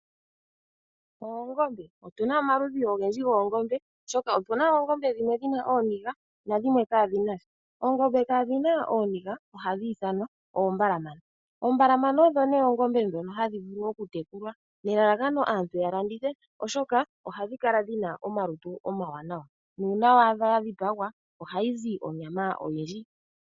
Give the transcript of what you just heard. Oongombe! Otu na omaludhi ogendji goongombe oshoka opu na oongombe dhimwe dhina ooniiga nadhimwe kadhi nasha. Oongombe kaa dhina ooniiga ohadhi ithanwa oombalamana. Oombalamana odho nee oongombe dhoka hadhi vulu okutekulwa, nelalakano aantu yalandithe oshoka ohadhi kala dhina omalutu omawanawa. Nuuna waadha yadhipagwa oha yi zi onyama oyindji.